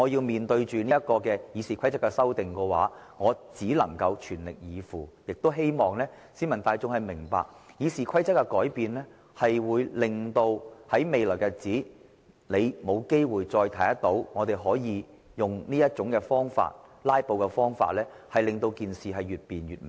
面對着《議事規則》的修訂，我只能全力以赴，亦希望市民大眾明白，《議事規則》一經修訂，我們日後便無法再以"拉布"的方式令事情越辯越明。